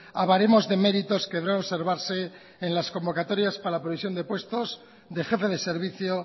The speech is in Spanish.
a baremos de méritos que observarse en las convocatorias para la previsión de puestos de jefe de servicio